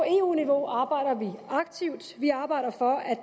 eu niveau arbejder vi aktivt vi arbejder for at